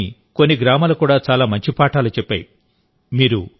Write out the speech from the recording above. త్రిపురలోని కొన్ని గ్రామాలు కూడా చాలా మంచి పాఠాలు చెప్పాయి